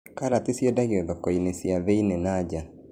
Karati ciendagio thoko-inĩ cia thĩiniĩ na nja